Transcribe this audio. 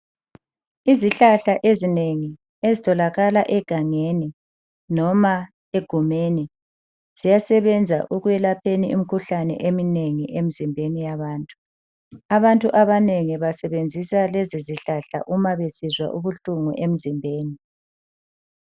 Izihlahla ezinengi ezitholakala egangeni noma egumeni ziyasebenza ekwelapheni imkhuhlane emnengi emzimbeni yabantu. Abantu abanengi basebenzisa lezo zihlahla uma besizwa ubuhlungu emzimbeni.